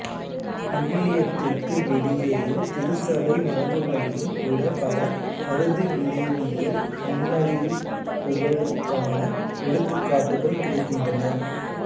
விவிலியத்திற்கு வெளியேயும் திருச்சபை மரபுகளிலும் கூட பல அறுதிவிளைவியல் முன்னறிவிப்புகளுக்கான எடுத்துக்காட்டுகள் கிடைக்கின்றன